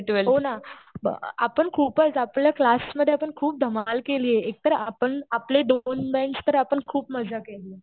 हो ना. आपण खूपच. आपल्या क्लासमध्ये आपण खूप धमाल केलीय. एक तर आपण आपले दोन बेंच तर आपण खूप मजा केली.